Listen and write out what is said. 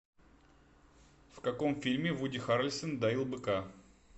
в каком фильме вуди харрельсон доил быка